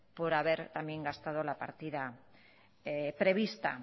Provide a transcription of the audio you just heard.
por haber también gastado la partida prevista